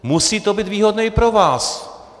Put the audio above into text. Musí to být výhodné i pro vás.